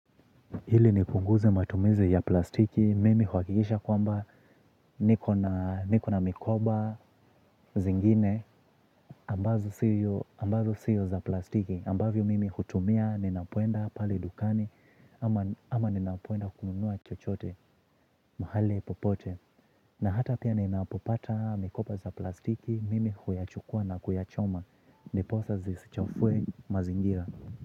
Ili nipunguze matumizi ya plastiki, mimi huhakikisha kwamba niko na mikoba zingine ambazo sio za plastiki, ambavyo mimi hutumia, ninapoenda pale dukani. Ama ninapoenda kununua chochote, mahali popote na hata pia ninapopata mikoba za plastiki, mimi huyachukua na kuyachoma. Ndiposa zisichafue mazingira.